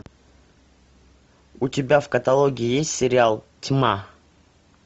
у тебя в каталоге есть сериал тьма